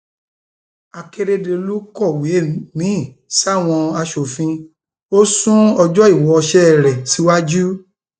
akérédọlù kọwé miín sáwọn asòfin ò sún ọjọ ìwoṣẹ rẹ síwájú